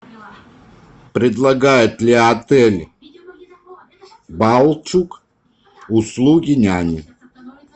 предлагает ли отель балчуг услуги няни